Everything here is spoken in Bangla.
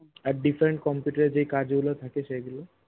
আর different computer এর যেই কাজ গুলো থাকে সেগুলো